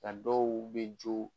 Ka dɔw be jo